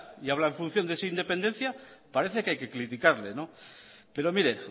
y habla en función de esa independencia parece que hay que criticarle pero mire